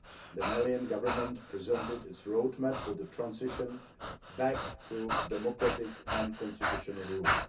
The Malian Government presented its roadmap for the transition back to democratic and constitutional rule.